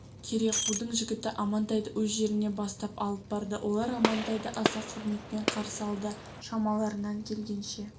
керекудің жігіті амантайды өз жеріне бастап алып барды олар амантайды аса құрметпен қарсы алды шамаларынан келгенше